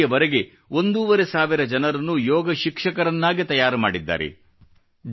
ಇಲ್ಲಿವರೆಗೆ ಒಂದೂವರೆ ಸಾವಿರ ಜನರನ್ನು ಯೋಗ ಶಿಕ್ಷಕರನ್ನಾಗಿ ತಯಾರು ಮಾಡಿದ್ದಾರೆ